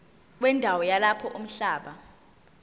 wendawo yalapho umhlaba